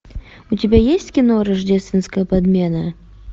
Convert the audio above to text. у тебя есть кино рождественская подмена